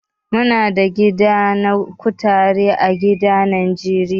Muna da gida na kutare a garin Niger.